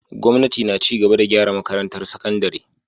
Gwamnati na ci gaba da gyara makarantar sakandare.